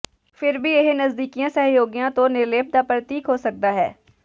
ਫਿਰ ਵੀ ਇਹ ਨਜ਼ਦੀਕੀ ਸਹਿਯੋਗੀਆਂ ਤੋਂ ਨਿਰਲੇਪ ਦਾ ਪ੍ਰਤੀਕ ਹੋ ਸਕਦਾ ਹੈ